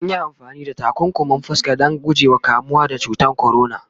anyi amfani da takunkumin fuska Dan guje wa kamuwa da cutan corona